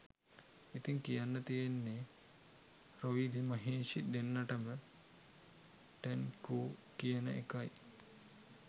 ඉතිං කියන්න තියෙන්නේ රොයිලි මහේෂි දෙන්නටම ටැන්කූ කියන එකයි